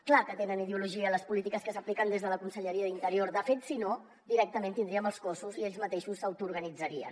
clar que tenen ideologia les polítiques que s’apliquen des de la conselleria d’interior de fet si no directament tindríem els cossos i ells mateixos s’autoorganitzarien